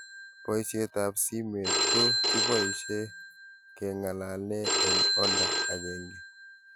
poishet ab simet ko kibaishe kengalalee eng' olda agenge